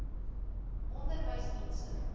onderwysdienste